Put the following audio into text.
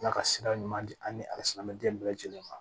Ala ka sira ɲuman di an ni ala sinamuden bɛɛ lajɛlen ma